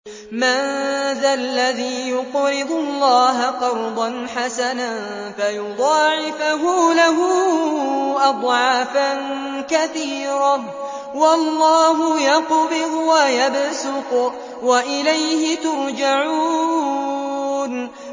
مَّن ذَا الَّذِي يُقْرِضُ اللَّهَ قَرْضًا حَسَنًا فَيُضَاعِفَهُ لَهُ أَضْعَافًا كَثِيرَةً ۚ وَاللَّهُ يَقْبِضُ وَيَبْسُطُ وَإِلَيْهِ تُرْجَعُونَ